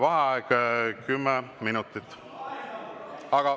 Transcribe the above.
Vaheaeg 10 minutit.